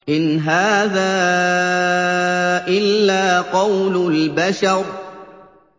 إِنْ هَٰذَا إِلَّا قَوْلُ الْبَشَرِ